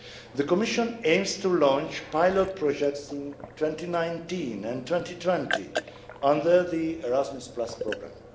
The Commission aims to launch pilot projects in 2019 and 2020 under the Erasmus programme.